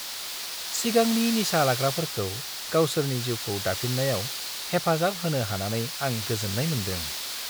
सिगांनि निसा लाग्राफोरखौ गावसोरनि जिउखौ दाफिन्नायाव हेफाजाब होनो हानानै आं‌ गोजोन्नाय मोन्दों।